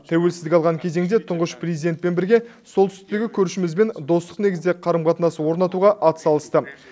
тәуелсіздік алған кезеңде тұңғыш президентпен бірге солтүстіктегі көршімізбен достық негізде қарым қатынас орнатуға атсалысты